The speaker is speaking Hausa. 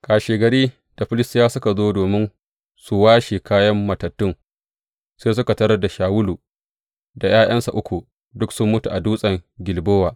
Kashegari, da Filistiyawa suka zo domin su washe kayan matattun, sai suka tarar Shawulu da ’ya’yansa uku duk sun mutu, a dutsen Gilbowa.